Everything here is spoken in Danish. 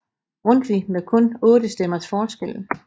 Grundtvig med kun 8 stemmers forskel